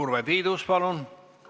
Urve Tiidus, palun!